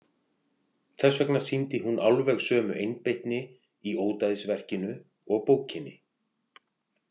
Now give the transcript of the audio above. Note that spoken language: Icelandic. Þess vegna sýndi hún alveg sömu einbeitni í ódæðisverkinu og bókinni.